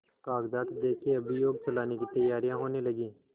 कागजात देखें अभियोग चलाने की तैयारियॉँ होने लगीं